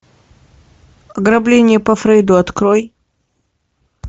ограбление по фрейду открой